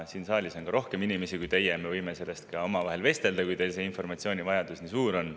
Siin saalis on rohkem inimesi kui teie, me võime sellest ka omavahel vestelda, kui teil see informatsioonivajadus nii suur on.